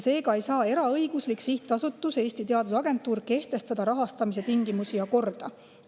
Seega ei saa eraõiguslik sihtasutus Eesti Teadusagentuur kehtestada rahastamise tingimusi ja korda.